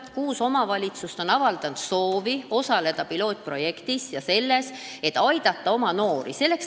Kuus omavalitsust on avaldanud soovi osaleda pilootprojektis ja oma noorte aitamises.